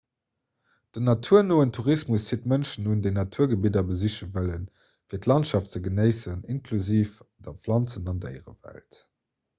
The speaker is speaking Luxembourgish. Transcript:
den naturnoen tourismus zitt mënschen un déi naturgebidder besiche wëllen fir d'landschaft ze genéissen inklusiv der planzen an déierewelt